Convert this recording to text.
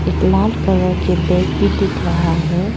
एक लाल कलर के बैग भी दिख रहा है।